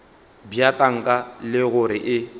bja tanka le gore e